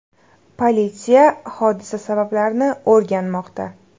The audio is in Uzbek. Politsiya hodisa sabablarini o‘rganmoqda.